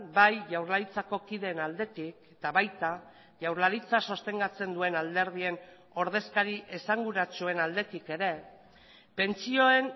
bai jaurlaritzako kideen aldetik eta baita jaurlaritza sostengatzen duen alderdien ordezkari esanguratsuen aldetik ere pentsioen